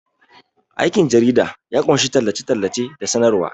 Aikin jarida ya ƙunshi tallace-tallace da sanarwa.